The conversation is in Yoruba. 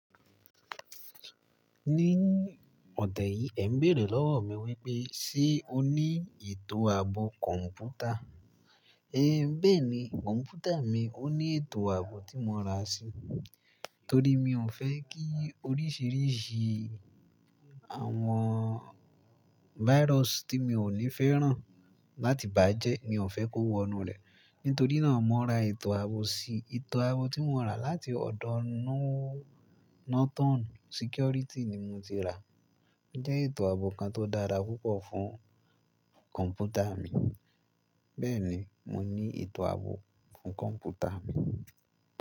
Ní ọ̀tẹ́ yìí, ẹ̀ ń béèrè lọ́wọ́ mi wípé, "ṣé o ní ètò ààbò kọ̀ǹpútà?" É béèni, kọ̀ǹpútà mi ó ní ètò ààbò tí mo ra sí, torí mi ò fẹ́ kí oríṣìíríṣìí àwọn virus tí mi ò ní fẹ́ ràn láti bá jẹ́ mi ò fẹ́ kó wọnú rẹ̀. Nítorí náà, mo ra ètò ààbò si. Ètò ààbò tí mo rà láti ọ̀dọ̀ Norton security ni mo ti rà. Ó jẹ́ ètò ààbò kan tó dára púpọ̀ fún kọ̀ǹpútà mí. Bẹ́ẹ̀ni, mo ní ètò ààbò fún kọ̀ǹpútà mí.